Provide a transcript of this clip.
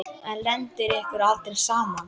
En lendir ykkur aldrei saman?